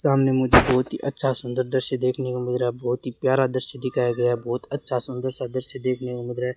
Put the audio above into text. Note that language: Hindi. सामने मुझे बहुत ही अच्छा सुंदर दृश्य देखने को मिल रहा है बहुत ही प्यारा दृश्य दिखाया गया बहुत अच्छा सुंदर सा दृश्य देखने को मिल रहा है।